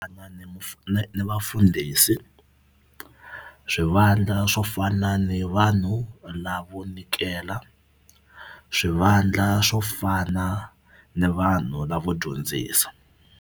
ni ni vafundhisi swivandla swo fana ni vanhu lavo nyikela swivandla swo fana ni vanhu lavo dyondzisa.